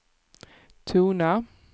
tona